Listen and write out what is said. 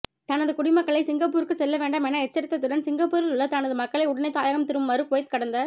தனது குடிமக்களை சிங்கப்பூருக்குச் செல்லவேண்டாம் என எச்சரித்ததுடன் சிங்கப்பூரிலுள்ள தனது மக்களை உடனே தாயகம் திரும்புமாறு குவைத் கடந்த